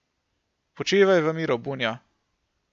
Počivaj u miru, Bunjo!